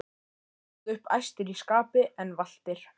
og stóðu upp æstir í skapi en valtir.